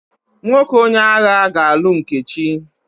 Nwoke onye agha ga-alụ Nkechi.